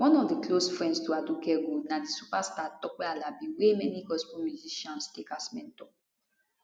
one of di close friends to aduke gold na di superstar tope alabi wey many gospel musicians take as mentor